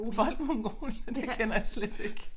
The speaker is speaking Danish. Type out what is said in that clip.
Boldmongol det kender jeg slet ikke